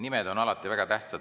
Nimed on alati väga tähtsad.